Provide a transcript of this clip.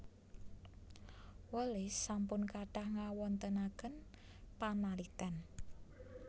Wallace sampun kathah ngawontenaken panaliten